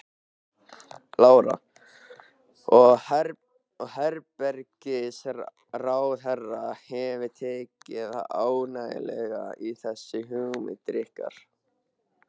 Lára: Og heilbrigðisráðherra hefur tekið ágætlega í þessar hugmyndir ykkar?